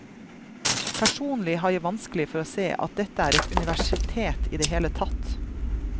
Personlig har jeg vanskelig for å se at dette er et universitet i det hele tatt.